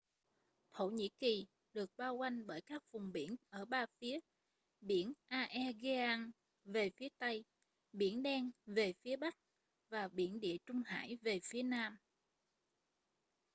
thổ nhĩ kỳ được bao quanh bởi các vùng biển ở ba phía biển aegean về phía tây biển đen về phía bắc và biển địa trung hải về phía nam